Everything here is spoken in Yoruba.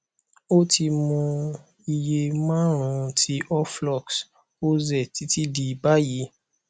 ó ti mu iye márùnún ti oflox oz títí di báyìí